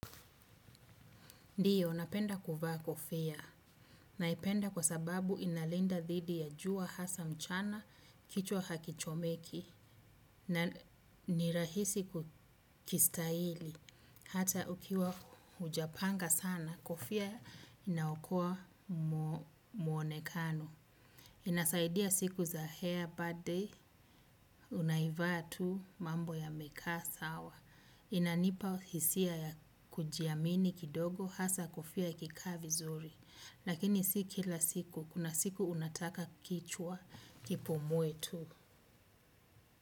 Ndio, napenda kuvaa kofia. Naipenda kwa sababu inalinda dhidi ya jua hasa mchana, kichwa hakichomeki, na ni rahisi kukistahili. Hata ukiwa hujapanga sana, kofia inaokoa muonekano. Inasaidia saidia siku za hair bad day, unavaa tu mambo yanakaa sawa. Inanipa hisia ya kujiamini kidogo hasa kofia ikikaa vizuri. Lakini si kila siku, kuna siku unataka kichwa kipumue tu.